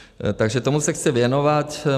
Takže tomu se chci věnovat.